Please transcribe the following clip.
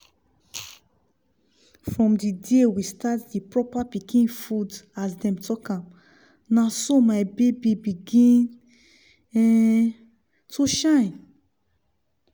from di day we start di proper pikin food as dem talk am na so my baby begin um to shine